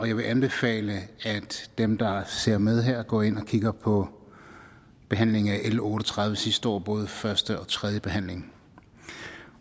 jeg vil anbefale at dem der ser med her går ind og kigger på behandlingen af l otte og tredive sidste år både første og tredje behandling